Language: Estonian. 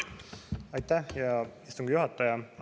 Aitäh, hea istungi juhataja!